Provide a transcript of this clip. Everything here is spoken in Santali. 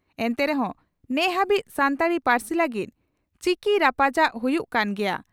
ᱮᱱᱛᱮ ᱨᱮᱦᱚᱸ ᱱᱮᱦᱟᱹᱵᱤᱡ ᱥᱟᱱᱛᱟᱲᱤ ᱯᱟᱹᱨᱥᱤ ᱞᱟᱹᱜᱤᱫ ᱪᱤᱠᱤ ᱨᱟᱯᱟᱪᱟᱜ ᱦᱩᱭᱩᱜ ᱠᱟᱱ ᱜᱮᱭᱟ ᱾